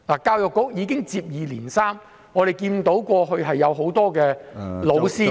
教育局已接連出現這些問題，我們看見過往有很多教師......